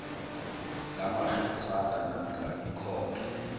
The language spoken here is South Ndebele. kamarhistrada namkha ikhotho